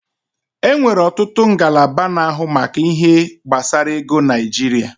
E nwere ọtụtụ ngalaba na-ahụ maka ihe gbasara ego n'Naijiria